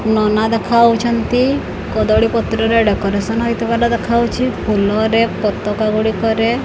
ନନା ଦେଖାଯାଉଛନ୍ତି କଦଳୀ ପତ୍ରରେ ଡେକୋରେସନ ହୋଇଥିବାର ଦେଖାଯାଉଛି ଫୁଲରେ ପତକା ଗୁଡିକରେ।